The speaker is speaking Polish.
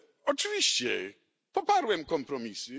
Oczywiście poparłem kompromisy.